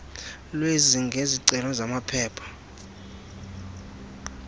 lwazi ngezicelo zamaphepha